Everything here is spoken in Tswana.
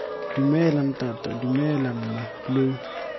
dumela ntata dumela mma lo